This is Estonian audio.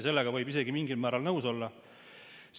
Sellega võib isegi mingil määral nõus olla.